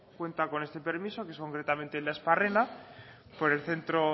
cuenta con este permiso que es concretamente el de aspárrena por el centro